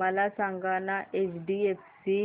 मला सांगाना एचडीएफसी